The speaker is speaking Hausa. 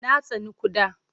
Na tsani ƙuda.